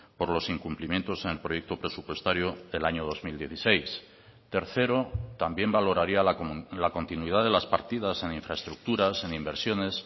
por los incumplimientos en el proyecto presupuestario del año dos mil dieciséis tercero también valoraría la continuidad de las partidas en infraestructuras en inversiones